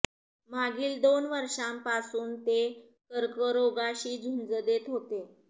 मागील दोन वर्षापासून ते कर्करोगाशी झुंज देत होते